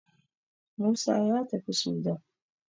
Musa ya tafi Sudan